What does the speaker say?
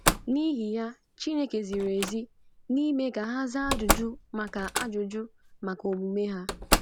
N’ihi ya, Chineke ziri ezi n’ime ka ha zaa ajụjụ maka ajụjụ maka omume ha.